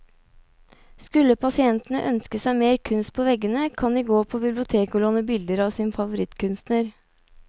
Skulle pasientene ønske seg mer kunst på veggene, kan de gå på biblioteket å låne bilder av sin favorittkunstner.